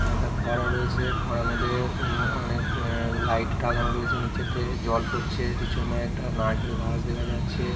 একটা ফোয়ারা রয়েছে ফোয়ারার মধ্যে অ্যাঁ অনেক লাইট লাগানো রয়েছে নীচেতে জল পড়ছে পিছনে একটা নারকেল গাছ দেখা যাচ্ছে ।